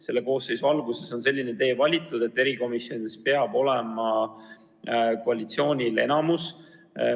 Selle koosseisu alguses on selline tee valitud, et erikomisjonides peab olema koalitsioonil enamus.